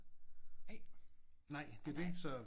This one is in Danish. Nej. Nej nej